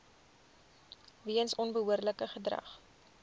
weens onbehoorlike gedrag